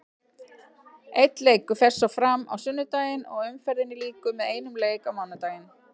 Einn leikur fer svo fram á sunnudaginn og umferðinni lýkur með einum leik á mánudaginn.